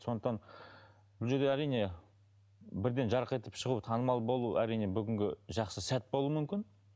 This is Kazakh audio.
сондықтан бұл жерде әрине бірден жарқ етіп шығу танымал болу әрине бүгінгі жақсы сәт болуы мүмкін